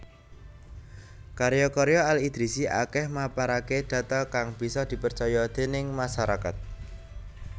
Karya karya Al Idrisi akèh maparaké data kang bisa dipercaya déning masarakat